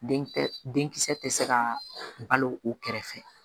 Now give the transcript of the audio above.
Den tɛ den kisɛ tɛ se ka balo u kɛrɛfɛ